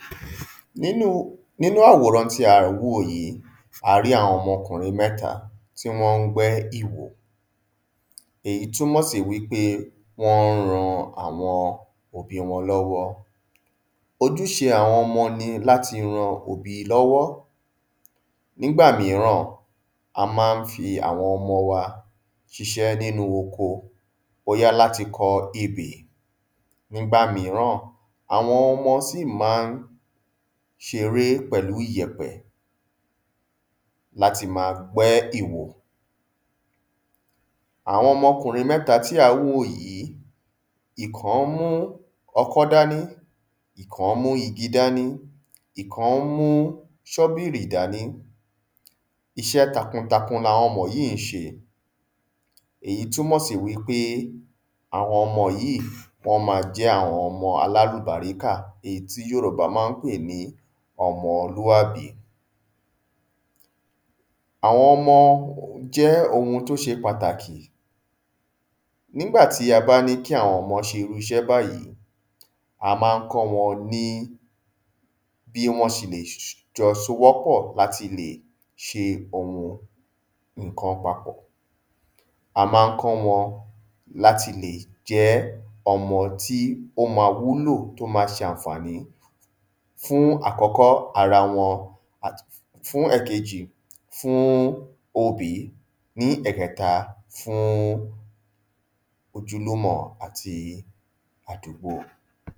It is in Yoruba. ﻿Nínu, nínú àwòran tí a n wò yí, a rí àwọn ọmọ okùnrin mẹ́ta tí wọ́n n gbẹ́ iwò, èyí túnmọ̀ sí wípé wọ́n n ran àwọn òbí wọn lọ́wọ́. Ojúṣe àwọn ọmọ ni láti ran òbí lọ́wọ́, nígbà míràn, a má n fi àwọn ọmọ wa ṣíṣẹ́ nínu oko, bóyá láti kọ ebè, nígbà míràn, àwọn ọmọ sì má n ṣeré pẹ̀lú ìyẹ̀pẹ̀, láti ma gbé iwò. Àwọn okùnrin mẹ́ta tí à n wọ̀ yí, ìkan mú okó dání, ìkan mú igi dání, ìkan mú ṣọ́bìrì dání, iṣẹ́ takuntakun làwọn ọmọ yí n ṣe, èyí túnmọ̀ sí wípé àwọn ọmọ yí wọ́n ma jé àwọn ọmọ alálùbáríkà, èyí tí Yorùbá má n pè ní ọmọlúàbí. Àwọn ọmọ jẹ́ ohun tí ó ṣe pàtàkì nígbà tí a bá ní ki àwọn ọmọ ṣe irú iṣẹ́ báyìí, a má n kó wọn ní bí wọ́n ṣe le s s, jọ sowọ́pọ̀ láti le ṣe ohun nnkan papọ̀. A má n kó wọn láti lè jẹ́ ọmọ tí ó ma wúlò tí ó ma ṣàfàní, fún àkọ́kọ́, arawọn, àti fún ẹ̀kejì, fún obí, ní ẹ̀kẹta, fún ojúlùmọ̀ àti àdúgbò.